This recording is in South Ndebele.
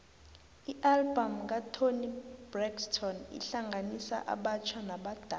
ialbum katoni braxton ihlanganisa abatjha nabadala